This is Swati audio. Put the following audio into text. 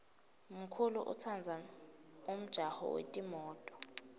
mkulu utsandza umjaho yetimto